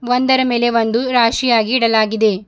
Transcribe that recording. ಒಂದರ ಮೇಲೆ ಒಂದು ರಾಶಿಯಾಗಿ ಇಡಲಾಗಿದೆ.